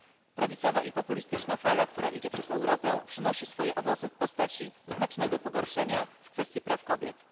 Prawicowa i populistyczna fala, która idzie przez Europę, przynosi swoje owoce w postaci znacznego pogorszenia w kwestii praw kobiet.